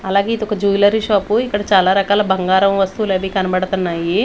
అలాగే ఇదొక jewellery shop ఇక్కడ చాలా రకాల బంగారం వస్తువులు అవి కనపడతన్నాయి.